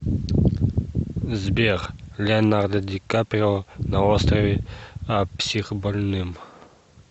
сбер леонардо ди каприо на острове а психбольным